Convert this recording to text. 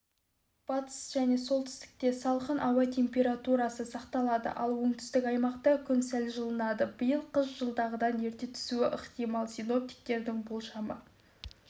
батыс және солтүстікте салқын ауа температурасы сақталады ал оңтүстік аймақта күн сәл жылынады биыл қыс жылдағыдан ерте түсуі ықтимал синоптиктердің болжамы